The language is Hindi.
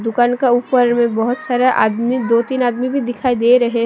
दुकान का ऊपर में बहुत सारे आदमी दो तीन आदमी भी दिखाई दे रहे--